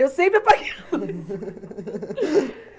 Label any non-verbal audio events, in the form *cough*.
Eu sempre apaguei a luz. *laughs*